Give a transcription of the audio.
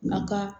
Na ka